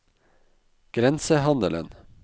grensehandelen